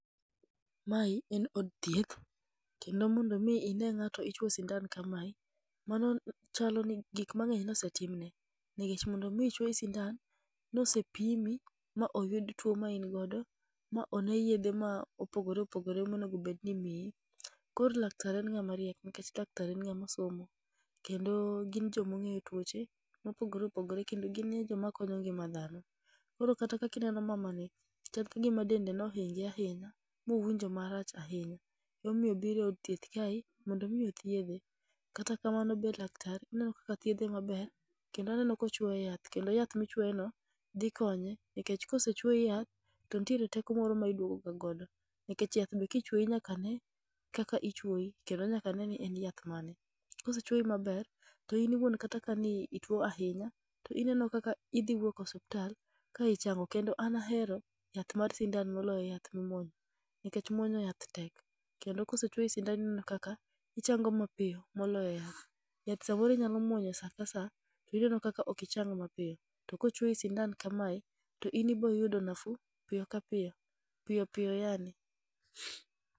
Mae en od thieth, kendo mondo mi ine ng'ato ichwo sindan kamae, mano chalo ni gik mang'eny nosetimne. Nikech mondo mi chwoyi sindan, nose pimi ma oyud tuo ma in go ma in godo, ma one yedhe ma opogore opogore monegobedni imiyi. Koro laktar en ng'ama riek, Nikech laktar en ng’ama osomo, kendo gin jomong'eyo tuoche mopogore opogore kendo ginie joma konyo ngima dhano. Koro kata kakineno mamani, chal ka gima dende nohinge ahinya, mowinjo marach ahinya. Emomiyo obiro e od thieth kae, mondo mi othiedhe. Kata kamano be laktar ineno kaka thiedhe maber, kendo aneno ka ochwoye yath. Kendo yath mochwoye no dhi konye, nekech kosechwoyi yath, to nitiere teko moro ma iduogo ga godo. Nikech yath be kichwoyi nyaka ne kaka ichwoyo kendo nyaka ne ni en yath mane. Kosechwouyi maber, to in iwuon kata ka ni ituo ahinya, to ineno kaka idhi wuok osiptal ka ichango. Kendo an ahero yath mar sindan moloyo yath ma imuonyo nikech muonyo yath tek. Kendo kosechwoyi sindan ineno kaka ichango mapiyo moloyo muonyo yath. Yath samoro inyalo muonyo sa ka sa, to ineno kaka ok ichang mapiyo. To kochwoyi sindan kame, to in iboyudo nafuu, piyo ka piyo, piyo piyo yaani.